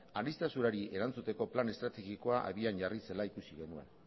aniztasunari erantzuteko plan estrategikoa abian jarri zela ikusi genuen